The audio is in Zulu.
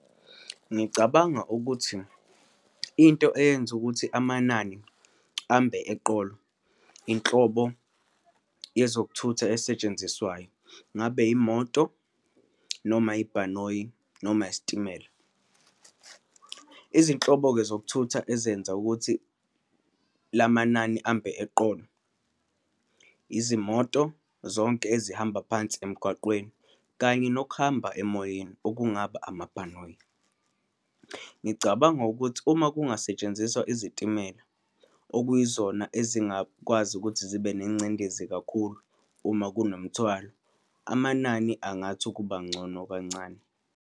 Ngicabanga ukuthi into eyenza ukuthi amanani ambe eqolo, inhlobo yezokuthutha esetshenziswayo, ngabe imoto noma ibhanoyi noma isitimela. Izinhlobo-ke zokuthutha ezenza ukuthi lamanani ambe eqolo, izimoto zonke ezihamba phansi emgwaqweni, kanye nokuhamba emoyeni, okungaba amabhanoyi. Ngicabanga ukuthi uma kungasetshenziswa izitimela, okuyizona ezingakwazi ukuthi zibe nengcindezi kakhulu uma kunomthwalo, amanani angathi ukuba ngcono kancane.